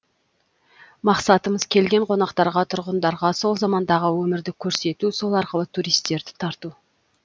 мақсатымыз келген қонақтарға тұрғындарға сол замандағы өмірді көрсету сол арқылы туристерді тарту